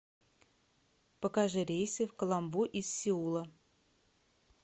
покажи рейсы в каламбу из сеула